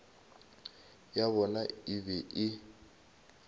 ya bona e be e